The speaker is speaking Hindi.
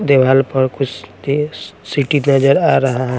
देवाल पर कुछ सिटी नजर आ रहा है।